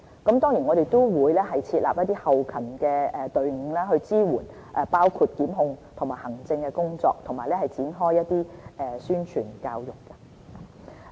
此外，我們也會設立一些後勤隊伍，支援包括檢控和行政工作，並展開宣傳教育。